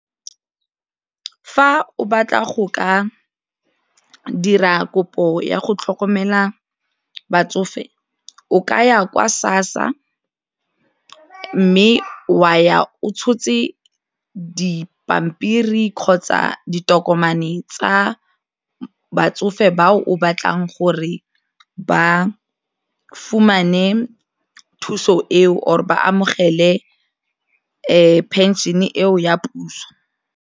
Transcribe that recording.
Fa o batla go ka dira kopo ya go tlhokomela batsofe o ka ya kwa SASSA mme wa ya o tshotse dipampiri kgotsa ditokomane tsa batsofe bao o batlang gore ba fumane thuso eo or ba amogele pension eo ya puso.